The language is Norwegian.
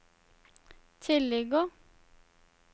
tilligger